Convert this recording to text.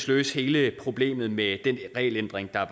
løse hele problemet med den regelændring der